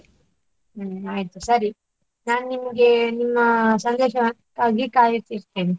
ಹ್ಮ್‌ ಆಯ್ತು ಸರಿ, ನಾನು ನಿಮಗೆ ನಿಮ್ಮ ಸಂದೇಶಕ್ಕಾಗಿ ಕಾಯುತ್ತಿರ್ತೇನೆ.